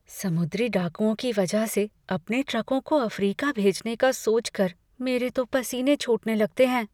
समुद्री डाकुओं के वजह से अपने ट्रकों को अफ़्रीका भेजने का सोच कर मेरे तो पसीने छूटने लगते हैं।